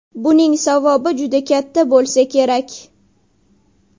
Buning savobi juda katta bo‘lsa kerak.